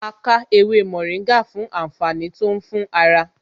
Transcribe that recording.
A ká ewé mòríngà fún àǹfààní tó ń fún ara